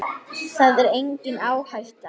Það er engin áhætta.